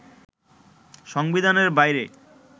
সংবিধানের বাইরে